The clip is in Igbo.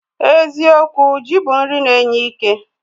Eziokwu, ji bụ nri na-enye ike